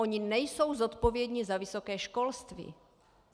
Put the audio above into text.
Oni nejsou zodpovědní za vysoké školství.